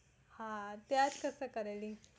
હા ત્યાંજ કસે કરેલી